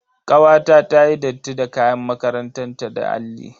Kawata tayi datti da kayan makarantan ta da alli.